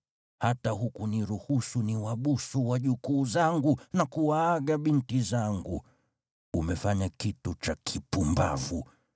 Hata hukuniruhusu niwabusu wajukuu zangu na kuwaaga binti zangu. Umefanya kitu cha kipumbavu.